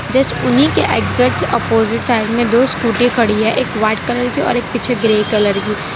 Just उन्हीं के exact opposite side में दो स्कूटी खड़ी है एक वाइट कलर की और एक पीछे ग्रे कलर की।